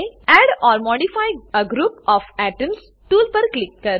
add or modify a group of atoms tool પર ક્લિક કરો